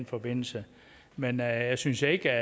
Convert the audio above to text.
forbindelse men jeg synes ikke